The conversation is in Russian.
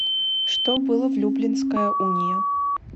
что было в люблинская уния